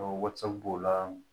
Wasa b'o la